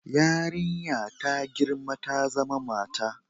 Yarinya ta girma ta zama mata